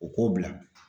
U k'o bila